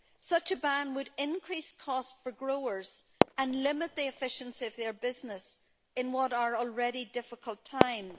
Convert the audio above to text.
Such a ban would increase costs for growers and limit the efficiency of their businesses in what are already difficult times.